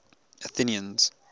athenians